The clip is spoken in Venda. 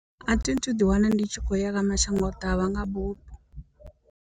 A thi thu ḓi wana ndi tshi khou ya kha mashangoḓavha nga bufho.